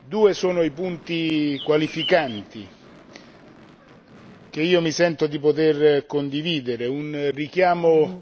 Due sono i punti qualificanti che io mi sento di poter condividere un richiamo